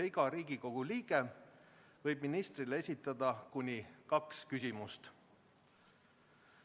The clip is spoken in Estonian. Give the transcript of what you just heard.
Iga Riigikogu liige võib ministrile esitada kuni kaks küsimust.